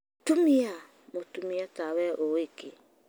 tumia! Mũtumia tawe ũũĩ kĩ